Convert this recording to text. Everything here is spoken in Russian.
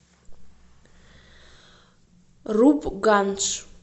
рупгандж